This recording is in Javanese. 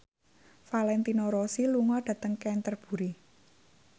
Valentino Rossi lunga dhateng Canterbury